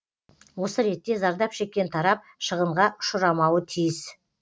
осы ретте зардап шеккен тарап шығынға ұшырамауы тиіс